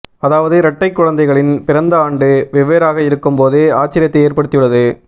அதாவது இரட்டை குழந்தைகளின் பிறந்த ஆண்டு வெவ்வேறாக இருக்கும் போது ஆச்சரியத்தை ஏற்படுத்தியுள்ளது